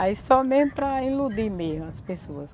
Aí só mesmo para iludir mesmo as pessoas.